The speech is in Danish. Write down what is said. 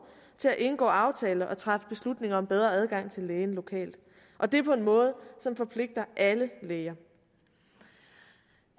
til at indgå aftaler og træffe beslutninger om bedre adgang til lægen lokalt og det på en måde som forpligter alle læger